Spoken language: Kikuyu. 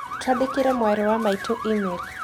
Twandĩkĩre mwarĩ wa maitũ e-mail